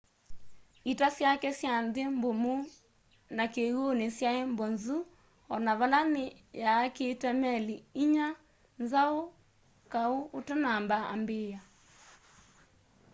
ita syake sya nthi mbumu na kiwuni syai mbozu ona vala ni yaakite meli inya nzau kau utanamba ambiia